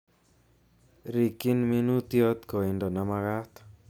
Rikyin minuutyot koindo nemakat